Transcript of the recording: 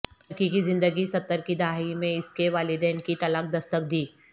لڑکی کی زندگی ستر کی دہائی میں اس کے والدین کی طلاق دستک دی